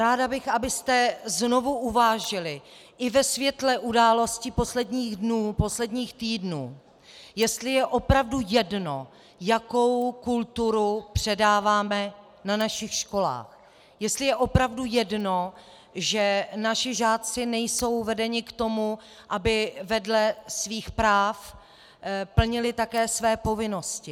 Ráda bych, abyste znovu uvážili i ve světle událostí posledních dnů, posledních týdnů, jestli je opravdu jedno, jakou kulturu předáváme na našich školách, jestli je opravdu jedno, že naši žáci nejsou vedeni k tomu, aby vedle svých práv plnili také své povinnosti.